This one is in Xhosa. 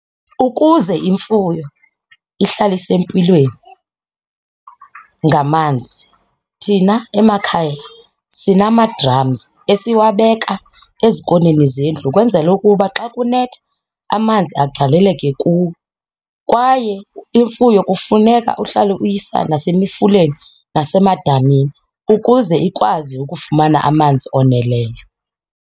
Ukuze imfuyo ihlale isempilweni ngamanzi thina emakhaya sinama-drums esiwabeka ezikoneni zendlu ukwenzela ukuba xa kunetha amanzi agaleleke kuwo kwaye imfuyo kufuneka uhlale uyisa nasemfuleni nasemadamini imini ukuze ikwazi ukufumana amanzi oneleyo.